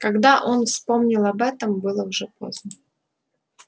когда он вспомнил об этом было уже поздно